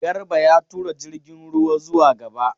Garba ya tura jirgin ruwa zuwa gaba.